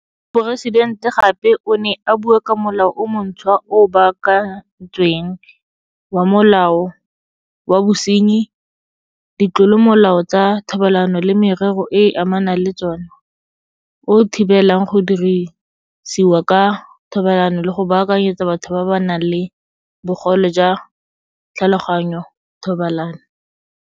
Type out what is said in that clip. Moporesidente gape o ne a bua ka Molao o montšhwa o o Baakantsweng wa Molao wa Bosenyi Ditlolomolao tsa Thobalano le Merero e e Amanang le tsona o o thibelang go dirisiwa ka thobalano le go baakanyetsa batho ba ba nang le bogole jwa tlhaloganyo thobalano.